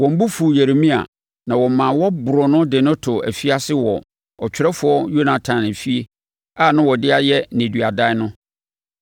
Wɔn bo fuu Yeremia, na wɔmaa wɔboroo no de no too afiase wɔ ɔtwerɛfoɔ Yonatan efie a na wɔde ayɛ nneduadan no.